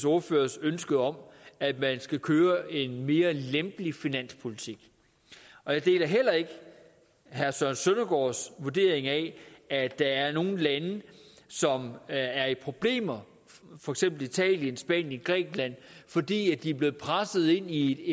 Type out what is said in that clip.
ordførers ønske om at man skal køre en mere lempelig finanspolitik og jeg deler heller ikke herre søren søndergaards vurdering af at der er nogle lande som er i problemer for eksempel italien spanien grækenland fordi de er blevet presset ind i